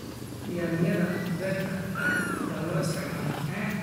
Yaanyada beerta aad baa loo isticmaalaa.